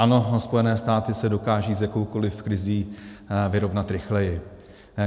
Ano, Spojené státy se dokážou s jakoukoli krizí vyrovnat rychleji.